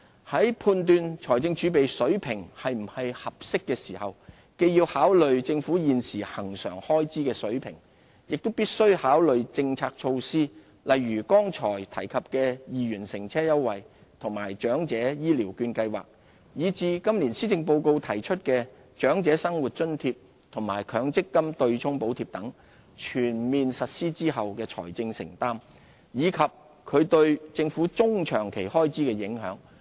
在判斷財政儲備的水平是不是合適時，既要考慮政府現時恆常開支的水平，亦必須考慮政策措施，例如剛才提及的2元交通優惠和長者醫療券計劃，以至今年施政報告提出的長者生活津貼和強積金"對沖"補貼等，全面實施後的財政承擔，以及其對政府中、長期開支的影響。